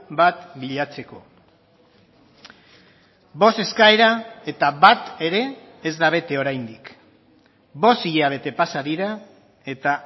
bat bilatzeko bost eskaera eta bat ere ez da bete oraindik bost hilabete pasa dira eta